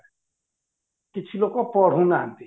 କିଛି ଲୋକ ପଢୁ ନାହାନ୍ତି